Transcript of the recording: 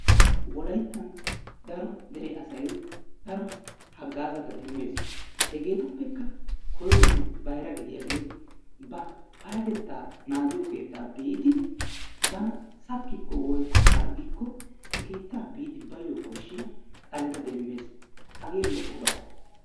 Wolayttan daro asay daro haggaazata demmees. Hegeetuppekka koyronne bayra gidiyagee ba payyatettaa naagiyo keettaa biidi bana skkikko/harggikko he keettaa biidi baayyo koshshiya xaleta demmees. Hagee lo"oba.